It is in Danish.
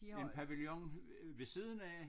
En pavillon ved siden af